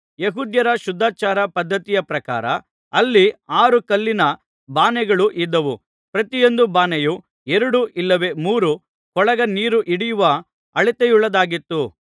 ಯೆಹೂದ್ಯರ ಶುದ್ಧಾಚಾರ ಪದ್ಧತಿಯ ಪ್ರಕಾರ ಅಲ್ಲಿ ಆರು ಕಲ್ಲಿನ ಬಾನೆಗಳು ಇದ್ದವು ಪ್ರತಿಯೊಂದು ಬಾನೆಯೂ ಎರಡು ಇಲ್ಲವೆ ಮೂರು ಕೊಳಗ ನೀರು ಹಿಡಿಯುವ ಅಳತೆಯುಳ್ಳದ್ದಾಗಿತ್ತು